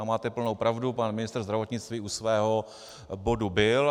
A máte plnou pravdu, pan ministr zdravotnictví u svého bodu byl.